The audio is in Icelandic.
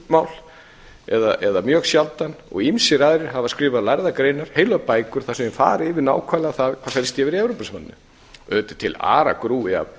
um evrópumál eða mjög sjaldan og ýmsir aðrir hafa skrifað lærðar greinar heilar bækur þar sem þeir fara yfir nákvæmlega það hvað er að gerast í evrópusambandinu auðvitað er ætla